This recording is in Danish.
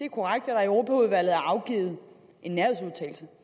europaudvalget er afgivet en nærhedsudtalelse